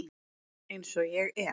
Eins og ég er.